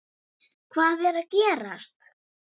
Hvernig var fagnað eftir leikinn?